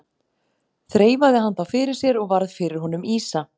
Þreifaði hann þá fyrir sér og varð fyrir honum ýsa.